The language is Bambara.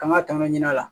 K'an ka tɔnɔ ɲini a la